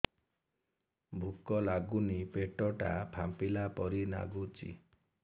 ଭୁକ ଲାଗୁନି ପେଟ ଟା ଫାମ୍ପିଲା ପରି ନାଗୁଚି